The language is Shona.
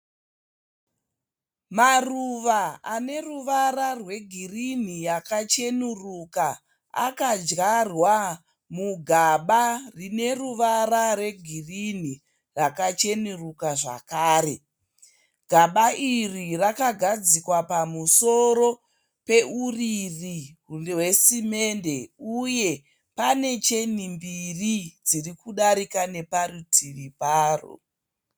Maruva ane ruvara rwegirinhi yakachenuruka akadyarwa mugaba rine ruvara rwegirinhi yakachenuruka zvakare. Gaba iri rakagadzikwa pamusoro peuriri hwesimende uye pane cheni mbiri dziri kudarika neparitivi paro.